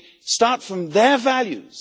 They start from their values.